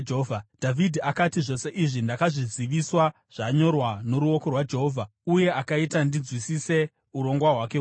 Dhavhidhi akati, “Zvose izvi ndakazviziviswa zvanyorwa noruoko rwaJehovha uye akaita ndinzwisise urongwa hwake hwose.”